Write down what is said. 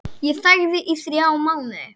Ég þagði í þrjá mánuði.